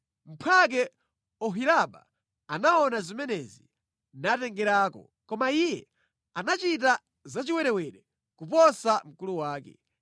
“Mphwake Oholiba anaona zimenezi natengerako. Koma iye anachita zachiwerewere kuposa mkulu wake.